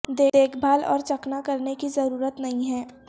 دیکھ بھال اور چکنا کرنے کی ضرورت نہیں ہے